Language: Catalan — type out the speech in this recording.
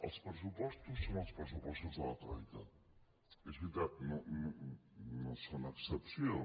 els pressupostos són els pressupostos de la troica és veritat no són excepció